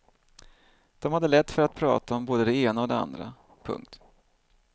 De hade lätt för att prata om både det ena och det andra. punkt